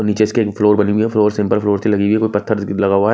नीचे इसके एक फ्लोर बनी हुई है फ्लोर सिंपल फ्लोर सी लगी हुई है व पत्थर लगा हुआ है।